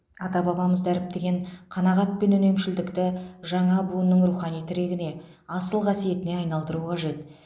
ата бабамыз дәріптеген қанағат пен үнемшілдікті жаңа буынның рухани тірегіне асыл қасиетіне айналдыру қажет